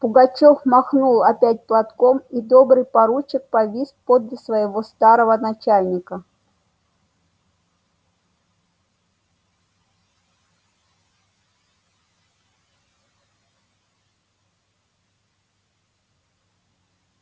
пугачёв махнул опять платком и добрый поручик повис подле своего старого начальника